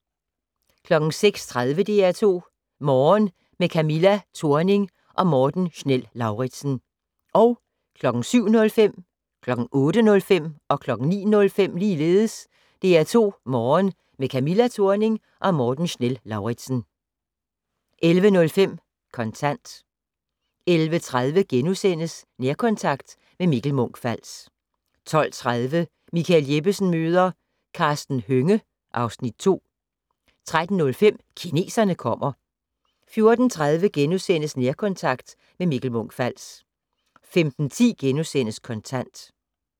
06:30: DR2 Morgen - med Camilla Thorning og Morten Schnell-Lauritzen 07:05: DR2 Morgen - med Camilla Thorning og Morten Schnell-Lauritzen 08:05: DR2 Morgen - med Camilla Thorning og Morten Schnell-Lauritzen 09:05: DR2 Morgen - med Camilla Thorning og Morten Schnell-Lauritzen 11:05: Kontant 11:30: Nærkontakt - med Mikkel Munch-Fals * 12:30: Michael Jeppesen møder ... Karsten Hønge (Afs. 2) 13:05: Kineserne kommer 14:30: Nærkontakt - med Mikkel Munch-Fals * 15:10: Kontant *